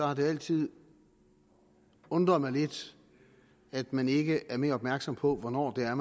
har det altid undret mig lidt at man ikke er mere opmærksom på hvornår der